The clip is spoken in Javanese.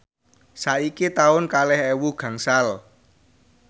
saiki taun kalih ewu gangsal